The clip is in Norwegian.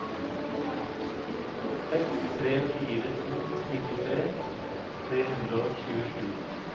seks tre fire to nittitre tre hundre og tjuesju